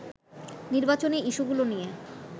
নির্বাচনী ইস্যুগুলো নিয়ে